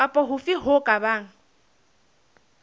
kapa hofe ho ka bang